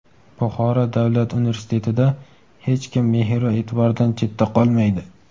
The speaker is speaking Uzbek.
Buxoro davlat universitetida "Hech kim mehr va e’tibordan chetda qolmaydi!"